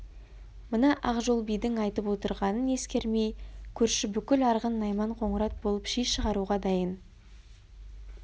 мына ақжол бидің айтып отырғанын ескермей көрші бүкіл арғын найман қоңырат болып ши шығаруға дайын